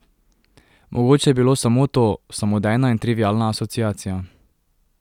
Mogoče je bilo samo to, samodejna in trivialna asociacija.